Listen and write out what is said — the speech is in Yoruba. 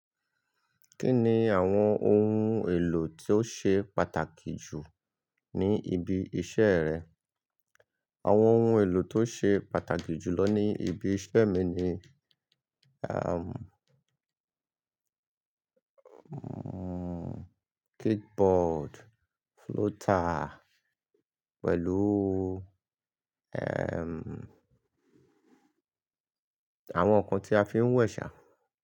Kí ni àwọn ohun èlò tí ó ṣe pàtàkì jù ní ibi iṣẹ́ rẹ? Àwọn ohun èlò tó ṣe pàtàkì jù lọ ní ibi iṣẹ́ mi ni, am, o, kick board, floater, pẹ̀lú, ẹm, àwọn ǹkan tí a fi ń wẹ̀ ṣá.